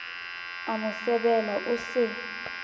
a mo sebela o se